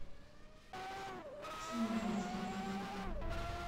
тимура батурина